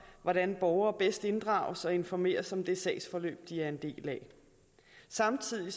hvordan borgere bedst inddrages og informeres om det sagsforløb de er en del af samtidig